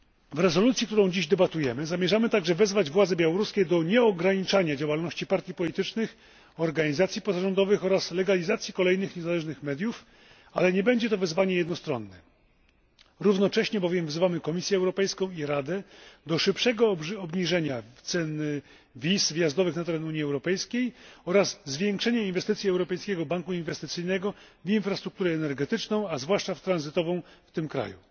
W rezolucji, nad którą dziś debatujemy, zamierzamy także wezwać władze białoruskie do nieograniczania działalności partii politycznych, organizacji pozarządowych oraz legalizacji kolejnych niezależnych mediów, ale nie będzie to wezwanie jednostronne. Równocześnie bowiem wzywamy Komisję Europejską i Radę do szybszego obniżenia cen wiz wjazdowych na teren Unii Europejskiej oraz zwiększenia inwestycji Europejskiego Banku Inwestycyjnego w infrastrukturę energetyczną, a zwłaszcza tranzytową w tym